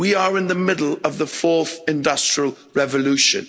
We are in the middle of the fourth industrial revolution.